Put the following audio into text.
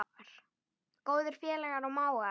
Góðir félagar og mágar.